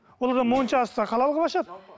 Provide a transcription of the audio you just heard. ол адам моншасын да халал қылып ашады